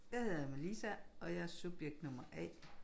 Jeg hedder Melisa og jeg er subjekt nummer A